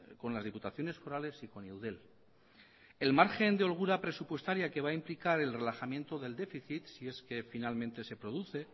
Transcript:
con las diputaciones forales y con eudel el margen de holgura presupuestaria que va a implicar el relajamiento del déficit si es que finalmente se produce